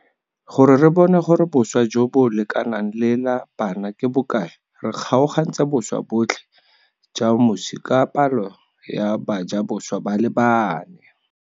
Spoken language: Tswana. Gore re bone gore boswa jo bo lekanang le la bana ke bokae re kgaogantse boswa botlhe ja moswi ka palo ya bajaboswa ba le bane.